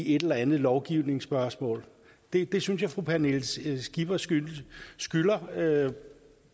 i et eller andet lovgivningsspørgsmål det synes jeg fru pernille skipper skylder skylder